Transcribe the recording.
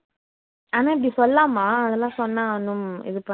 ஆனா அப்படி சொல்லலாம அதெல்லாம் சொன்னா ஒண்ணு இதுப